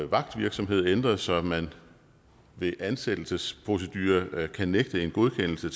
vagtvirksomhed ændret så man ved ansættelsesprocedurer kan nægte en godkendelse af